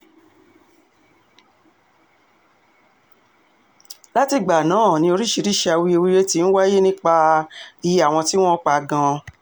látìgbà náà um ni oríṣiríìsì awuyewuye ti ń wáyé nípa um iye àwọn tí wọ́n pa gan-an